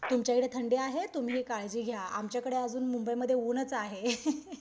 तुमच्याइकडे थंडी आहे तुम्ही काळजी घ्या आमच्याकडे मुंबईमध्ये आजून ऊनच आहे.